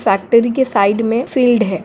Factory के side मे field है।